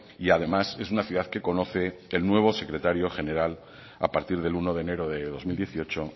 y además es una ciudad que conoce el nuevo secretario general a partir del uno de enero de dos mil dieciocho